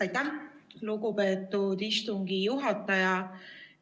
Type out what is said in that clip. Aitäh, lugupeetud istungi juhataja!